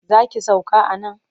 Za ki sauka a nan?